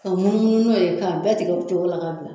Ka munumunu n'o ye k'a bɛɛ tigɛ o cogo la k'a bila.